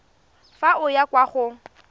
fa o ya kwa go